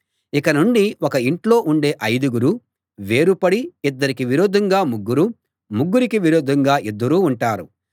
ఇక నుండి ఒక ఇంట్లో ఉండే ఐదుగురు వేరుపడి ఇద్దరికి విరోధంగా ముగ్గురూ ముగ్గురికి విరోధంగా ఇద్దరూ ఉంటారు